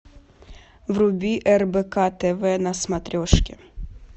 вруби рбк тв на смотрешке